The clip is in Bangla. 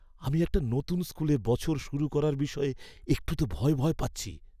আমি একটা নতুন স্কুলে বছর শুরু করার বিষয়ে একটু তো ভয় ভয় পাচ্ছি।